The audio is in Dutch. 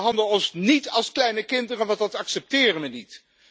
En behandel ons niet als kleine kinderen, want dat accepteren we niet!